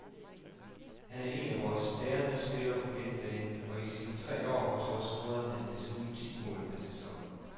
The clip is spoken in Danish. Han er en af vores bærende spillere på midtbanen, og i sine tre år hos os scorer han desuden ti mål per sæson.